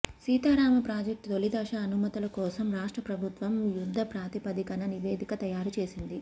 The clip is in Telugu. సీతారామ ప్రాజెక్టు తొలిదశ అనుమతుల కోసం రాష్ట్ర ప్రభుత్వం యుద్ధ ప్రాతిపదికన నివేదిక తయారు చేసింది